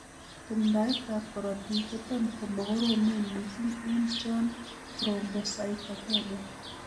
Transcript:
Tumdaetab korotik kotam komokoromen missing' en chon thrombocytopenia.